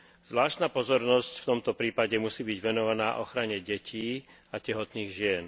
Zvláštna pozornosť v tomto prípade musí byť venovaná ochrane detí a tehotných žien.